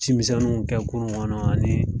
Ci misɛnninw kɛ kurun kɔnɔ ani